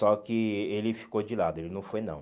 Só que ele ficou de lado, ele não foi não.